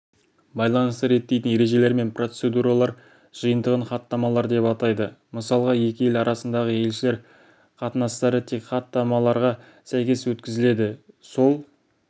байланысты реттейтін ережелер мен процедуралар жиынтығын хаттамалар деп атайды мысалға екі ел арасындағы елшілер қатынастары тек хаттамаларға сәйкес өткізіледі сол